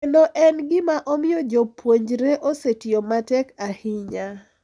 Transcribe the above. Kendo en e gima omiyo jopuonjre osetiyo matek ahinya.